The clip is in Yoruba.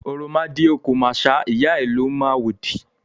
òròmọdìẹ kò màṣá, ìyá ẹ̀ ló mọ àwòdì.